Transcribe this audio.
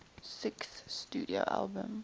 sixth studio album